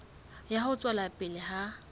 ya ho tswela pele ha